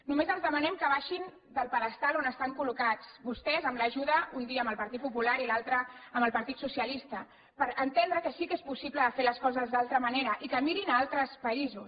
només els demanem que baixin del pedestal on estan col·locats vostès amb l’ajuda un dia del partit popular i l’altre del partit socialista per entendre que sí que és possible fer les coses d’altra manera i que mirin altres països